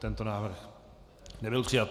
Tento návrh nebyl přijat.